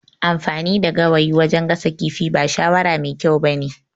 Amfani da gawayin wajan gasa kifin ba shawara mai kyau ba ne